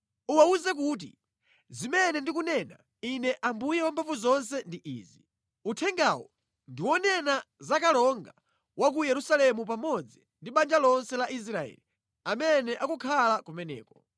“Uwawuze kuti, ‘zimene ndikunena Ine Ambuye Wamphamvuzonse ndi izi: Uthengawu ndi wonena za kalonga wa ku Yerusalemu pamodzi ndi banja lonse la Israeli amene akukhala kumeneko.’